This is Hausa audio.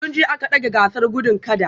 Tun jiya aka dage gasar gudun kada